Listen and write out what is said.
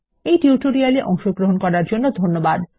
এই টিউটোরিয়াল এ অংশগ্রহন করার জন্য ধন্যবাদ